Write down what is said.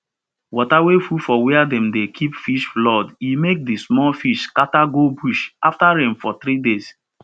water wey full for where dem dey keep fish flood e make the small fish scatter go bush after rain for three days